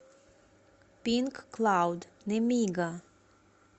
пинк клауд немига